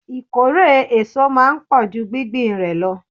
Ìkórè èso máa ń pò ju gbingbin rẹ lọ.